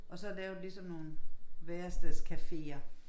og så lavet ligesom nogen værestedscaféer